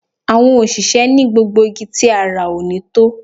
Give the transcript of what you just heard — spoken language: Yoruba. Àwọn òṣìṣẹ́ ni gbogbo igi tí a rà ò ní tó